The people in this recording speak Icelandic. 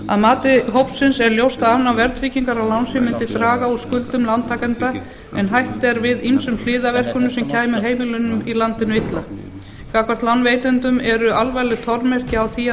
að mati hópsins er ljóst að afnám verðtryggingar á lánsfé mundi draga úr skuldum lántakenda en hætt er við ýmsum hliðarverkunum sem kæmu heimilunum í landinu illa gagnvart lánveitendum eru alvarleg formerki á því að